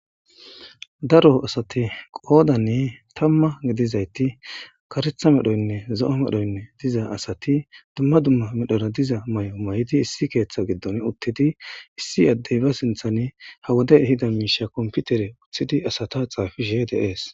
daro asati qoodanni tamma gidizayti karetha medhoynne zo7o medhoynne diza asati dumma dumma medhora diza may7o may7di issi keeththa giddon uttidi issi addey ba sinthani ha woday hida miisha komputere uththidi asata xaafi she deees